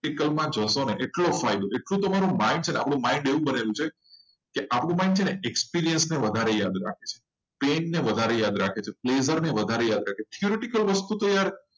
એટલું તમે theoretical વાંચો એટલું તમારો ફાયદો. આપણે એવું બનાવી દેવું કે આપણો mind અને experience ને વધારે યાદ રાખે. તેને વધારે યાદ રાખે. આનાથી theoretical માં વધારે જ હશો.